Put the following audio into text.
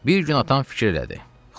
Bir gün atam fikir elədi: